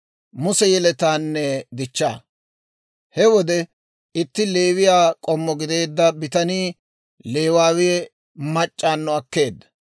He wode itti Leewiyaa k'ommo gideedda bitanii Leewawe mac'c'awunno akkeedda;